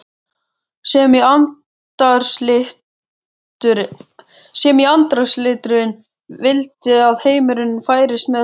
sem í andarslitrunum vildi að heimurinn færist með honum.